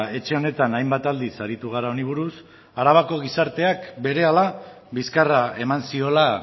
etxe honetan hainbat aldiz aritu gara honi buruz arabako gizarteak berehala bizkarra eman ziola